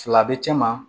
Fila bɛ cɛ ma